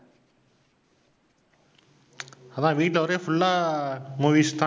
அதான் வீட்டுல ஒரே full லா movies தான்